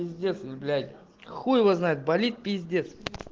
пиздец ну блять хуй его знает болит пиздец